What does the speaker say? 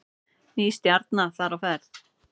Ný stjarna þar á ferð